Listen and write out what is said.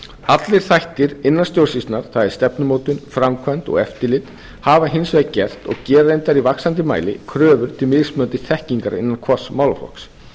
allir þættir innan stjórnsýslunnar það er stefnumótun framkvæmd og eftirlit hafa hins vegar gert og gera reyndar í vaxandi mæli kröfur til mismunandi þekkingar innan hvers málaflokks